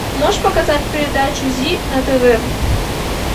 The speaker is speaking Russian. можешь показать передачу зи на тв